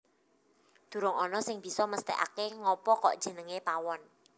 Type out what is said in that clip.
Durung ana sing bisa mesthekake ngapa kok jenengé Pawon